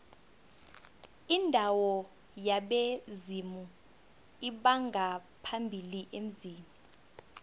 indawo yabezimu lbongaphambili emzini